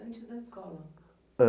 Antes da escola?